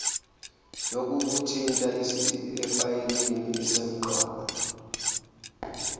yokukuthinta efayelini isemqoka